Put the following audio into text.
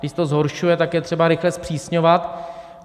Když se to zhoršuje, tak je třeba rychle zpřísňovat.